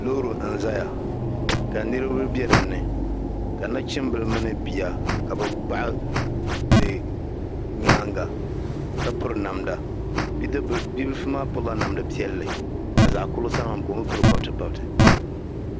loori n-zaya ka niriba be dinni ka nachimbila mini bia ka bɛ baɣi di nyaaŋga ka piri namda bibilifu maa pilila namda piɛlli ka zaɣ' kurili sani maa mi ka o mi piri pabitipabiti